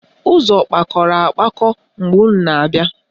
Ụzọ kpakọrọ akpakọ mgbe unu na-abịa?